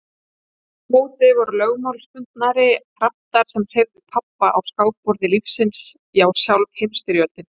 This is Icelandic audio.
Aftur á móti voru lögmálsbundnari kraftar sem hreyfðu pabba á skákborði lífsins já sjálf Heimsstyrjöldin.